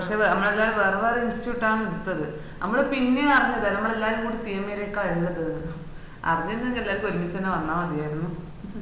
പക്ഷെ അമ്മളെല്ലാം വേറെ വേറെ institute ആണ് എടുത്തത്‌ മ്മള് പിന്നെയാ അറിഞ്ഞത്‌ അമ്മളെല്ലാരും കൂടി CMA ലേക്ക ഉള്ളതന്ന് അരിഞ്ഞിരുന്നേൽ എല്ലാർക്കും ഒരുമിച്ച് ന്നെ വന്നമാതിയേയ്‌നും